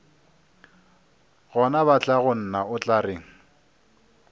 gona batlagonna o tla reng